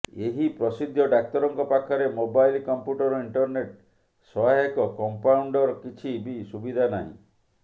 ଏହି ପ୍ରସିଦ୍ଧ ଡାକ୍ତରଙ୍କ ପାଖରେ ମୋବାଇଲ୍ କମ୍ପ୍ୟୁଟର ଇଣ୍ଟରନେଟ୍ ସହାୟକ କମ୍ପାଉଣ୍ଡର୍ କିଛି ବି ସୁବିଧା ନାହିଁ